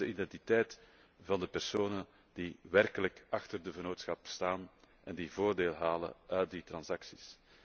Wat is de identiteit van de personen die werkelijk achter de vennootschap staan en die voordeel halen uit die transacties?